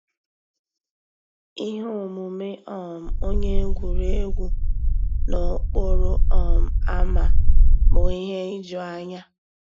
Íhé òmùmé um ónyé égwurégwu n'òkpòró um ámá bụ́ íhé ìjùányá.